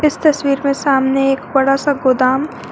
इस तस्वीर में सामने एक बड़ा सा गोदाम--